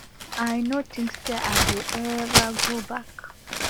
i no tink say i go ever go back